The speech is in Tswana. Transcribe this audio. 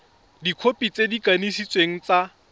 dikhopi tse di kanisitsweng tsa